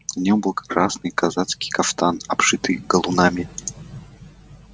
на нем был красный казацкий кафтан обшитый галунами